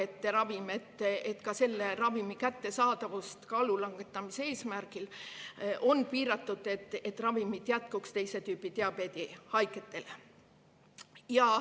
Selle ravimi kättesaadavust neile, kes soovivad seda kasutada kaalulangetamise eesmärgil, on piiratud, et ravimit jätkuks teise tüübi diabeedi haigetele.